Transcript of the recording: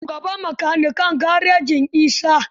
Sunan shugaban makanikan garejin Isa.